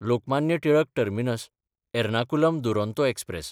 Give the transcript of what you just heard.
Lokmanya Tilak टर्मिनस–एर्नाकुलम Duronto express